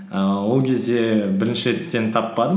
ііі ол кезде бірінші реттен таппадым